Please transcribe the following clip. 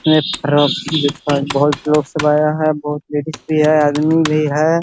है बहुत लोग सब आया है बहुत लेडिस भी है आदमी भी है ।